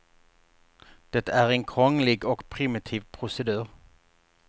Det är en krånglig och primitiv procedur.